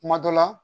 Kuma dɔ la